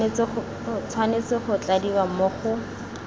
tshwanetse go tladiwa mo go